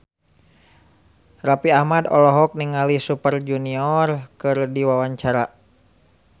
Raffi Ahmad olohok ningali Super Junior keur diwawancara